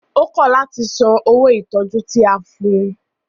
Ó kọ̀ láti san owó ìtọjú tí a fún ùn.